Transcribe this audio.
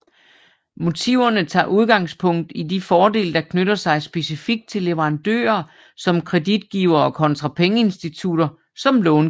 Motiverne tager udgangspunkt i de fordele der knytter sig specifikt til leverandører som kreditgivere kontra pengeinstitutter som långivere